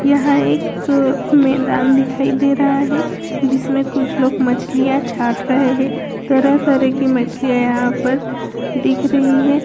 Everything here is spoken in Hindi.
यहाँ एक मैदान दिखाई दे रहा हैं जिसमें कुछ लोग मछलियाँ छाट रहे हैं तरह तरह की मछलियाँ यहाँ पर दिख रही हैं।